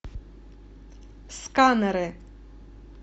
сканеры